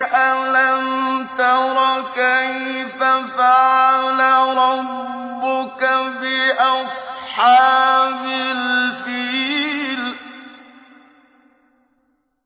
أَلَمْ تَرَ كَيْفَ فَعَلَ رَبُّكَ بِأَصْحَابِ الْفِيلِ